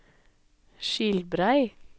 Skilbrei